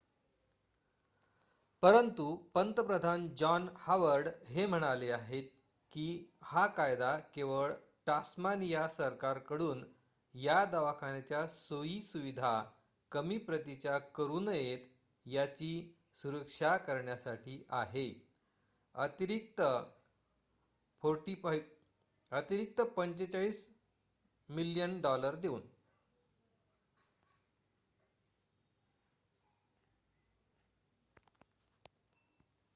परंतु पंतप्रधान John Howard हे म्हणाले आहेत की हा कायदा केवळ टास्मानिय सरकारकडून या दवाखान्याच्या सोयी सुविधा कमी प्रतीच्या करू नयेत याची सुरक्षा करण्यासाठी आहे अतिरिक्त aud$45 मिलियन देऊन